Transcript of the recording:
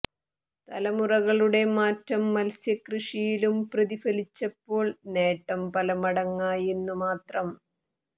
തലമുറകളുടെ മാറ്റം മത്സ്യക്കൃഷിയിലും പ്രതിഫലിച്ചപ്പോൾ നേട്ടം പല മടങ്ങായെന്നു മാത്രം